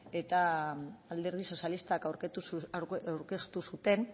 eta alderdi sozialistak aurkeztu zuten